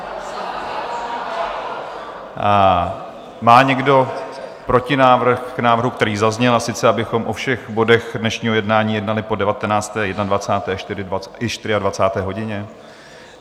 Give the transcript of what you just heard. Má někdo protinávrh k návrhu, který zazněl, a sice abychom o všech bodech dnešního jednání jednali po 19., 21., i 24. hodině?